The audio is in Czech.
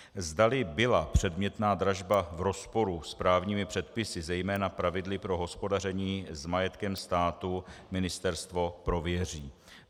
Zda byla předmětná dražba v rozporu s právními předpisy, zejména pravidly pro hospodaření s majetkem státu, ministerstvo prověří.